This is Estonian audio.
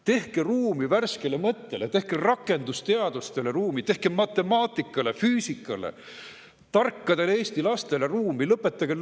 Tehke ruumi värskele mõttele, tehke rakendusteadustele ruumi, tehke matemaatikale, füüsikale ja tarkadele Eesti lastele ruumi!